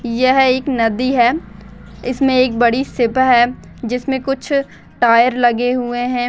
यह एक नदी है इसमें एक बड़ी शिप है जिसमे कुछ टायर लगे हुए हैं।